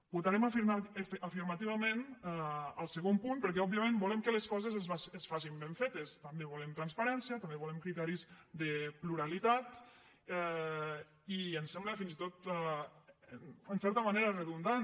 votarem afirmativament el segon punt perquè òbviament volem que les coses es facin ben fetes també volem transparència també volem criteris de pluralitat i ens sembla fins i tot en certa manera redundant